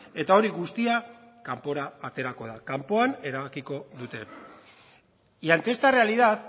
eta hori guztia kanpora aterako da kanpoan erabakiko dute y ante esta realidad